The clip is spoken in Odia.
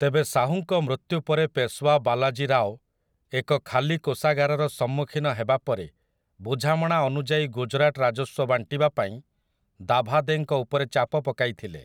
ତେବେ ଶାହୁଙ୍କ ମୃତ୍ୟୁ ପରେ ପେଶୱା ବାଲାଜୀ ରାଓ ଏକ ଖାଲି କୋଷାଗାରର ସମ୍ମୁଖୀନ ହେବାପରେ ବୁଝାମଣା ଅନୁଯାୟୀ ଗୁଜରାଟ ରାଜସ୍ୱ ବାଣ୍ଟିବାପାଇଁ ଦାଭାଦେଙ୍କ ଉପରେ ଚାପ ପକାଇଥିଲେ ।